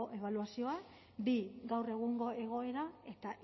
ebaluazioa bi gaur egungo egoera eta